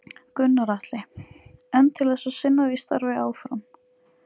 Gunnar Atli: En til þess að sinna því starfi áfram?